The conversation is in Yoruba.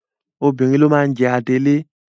Obìnrin ló máa ń jẹ adelé.